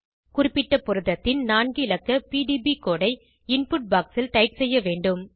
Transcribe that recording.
குறிப்பிட்ட புரதத்தின் நான்கு இலக்க பிடிபி கோடு ஐ இன்புட் பாக்ஸ் ல் டைப் செய்ய வேண்டும்